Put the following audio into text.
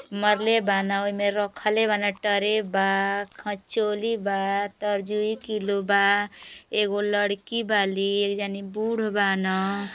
मरले बान ओहि में रखले बान। टरे बा खंचोली बा तरजुइ किलो बा। एगो लड़की बाली एक जानी बूढ बान।